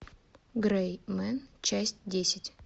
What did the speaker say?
грэй мен часть десять